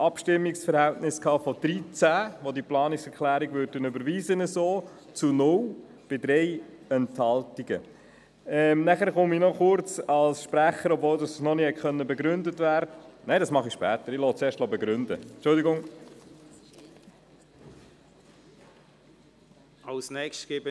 Im Abstimmungsverhältnis von 13 zu 0 Stimmen und 3 Enthaltungen hat die BaK entschieden, diese Planungserklärung so zu überweisen.